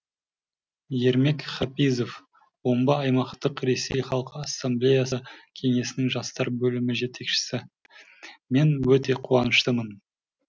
ермек хапизов омбы аймақтық ресей халқы ассамблеясы кеңесінің жастар бөлімі жетекшісі мен өте қуаныштымын